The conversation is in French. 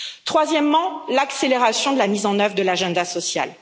Troisièmement, l'accélération de la mise en œuvre de l'agenda social.